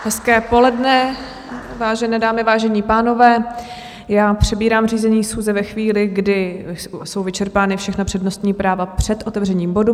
Hezké poledne, vážené dámy, vážení pánové, já přebírám řízení schůze ve chvíli, kdy jsou vyčerpána všechna přednostní práva před otevřením bodu.